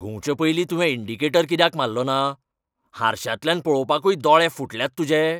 घुंवचें पयलीं तुवें इंडिकेटर कित्याक मारलो ना? हरश्यांतल्यान पळोवपाकूय दोळे फुटल्यात तुजे?